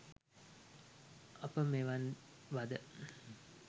අප මෙවන් ව ද